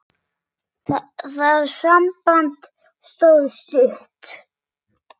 Það samband stóð stutt.